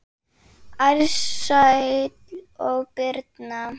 Ársæll og Birna.